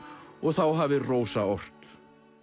og þá hafi Rósa ort